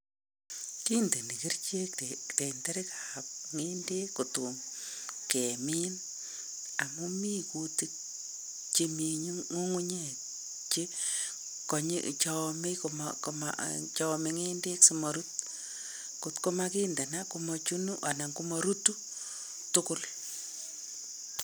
Kindeni kerichek tenderiab ng'endek kotom kemin. Amuu mi kutik chemii ng'ung'unyek che amei ng'endek simarut kotko makindana komachunu anan komarutu tugul.